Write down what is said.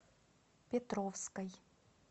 петровской